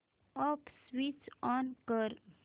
app switch on कर